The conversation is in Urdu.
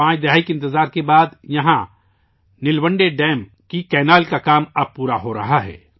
پانچ دہائیوں کے انتظار کے بعد یہاں نل ونڈے ڈیم کی نہر کا کام مکمل کیا جا رہا ہے